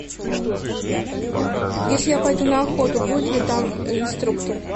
если я пойду на охоту будет ли там инструктор